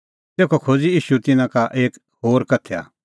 तेखअ खोज़अ ईशू तिन्नां लै एक उदाहरण